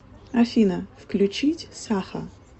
афина включить саха